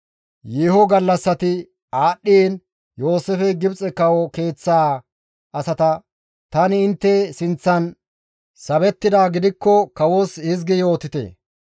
Yeeho gallassati aadhdhiin Yooseefey Gibxe kawo keeththaa asata, «Tani intte sinththan sabettidaa gidikko kawos hizgi yootite;